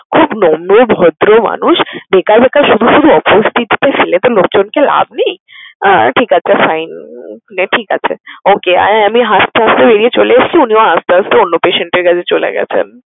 খুব নম্র, ভদ্র মানুষ। বেকার বেকার শুধু শুধু অপ্রস্তুতি তে ফেলে তো লোকজনকে লাভ নেই। আহ ঠিক আছে fine ঠিক আছে। Okey আর আমি হাসতে হাসতে বেরিয়ে চলে এসেছি আর উনিও হাসতে হাসতে অন্য patient এর কাছে চলে গেছেন।